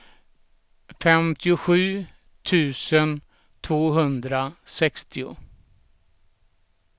femtiosju tusen tvåhundrasextio